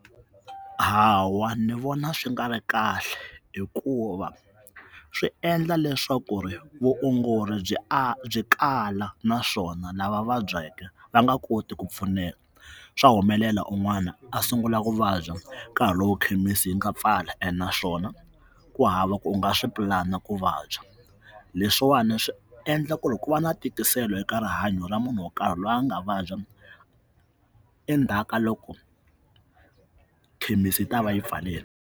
Hawa ni vona swi nga ri kahle hikuva swi endla leswaku ri vuongori byi a byi kala naswona lava vabyake va nga koti ku pfuneka swa humelela un'wana a sungula ku vabya nkarhi lowu ekhemisi yi nga pfala ene naswona ku hava ku u nga swi pulana ku vabya leswiwani swi endla ku ri ku va na tikiselo eka rihanyo ra munhu wo karhi loyi a nga vabya endzhaku ka loko khemisi ta va yi pfarini.